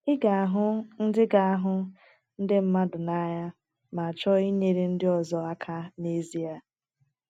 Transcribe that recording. “ Ị ga-ahụ ndị ga-ahụ ndị mmadụ n’anya ma chọọ inyere ndị ọzọ aka n’ezie.